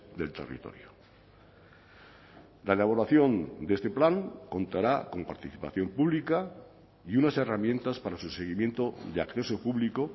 del territorio la elaboración de este plan contará con participación pública y unas herramientas para su seguimiento de acceso público